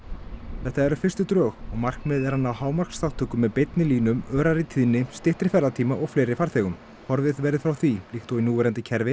þetta eru fyrstu drög og markmiðið er að ná með beinni línum örari tíðni styttri ferðatíma og fleiri farþegum horfið verði frá því líkt og í núverandi kerfi